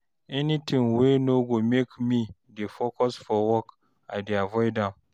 anytin wey no go mek me dey focus for work, I dey avoid am